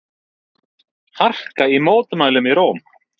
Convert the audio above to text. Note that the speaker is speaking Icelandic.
Harka í mótmælum í Róm